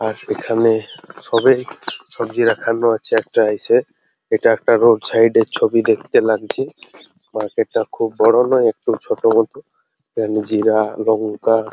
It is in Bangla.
আর এখানে সবে সবজি রাখানো আছে একটা ইসে এটা একটা রোড সাইড এর ছবি দেখতে লাগছে মার্কেট টা খুব বড় নয় একটু ছোট মতো এখানে জিরা লঙ্কা --